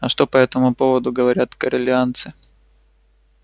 а что по этому поводу говорят корелианцы